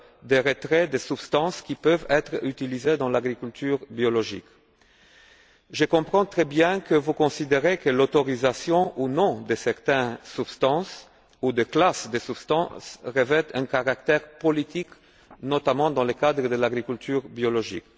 du retrait des substances qui peuvent être utilisées dans cette forme d'agriculture. Je comprends très bien que vous considérez que l'autorisation ou non de certaines substances ou de classes de substances revêt un caractère politique, notamment dans le cadre de l'agriculture biologique.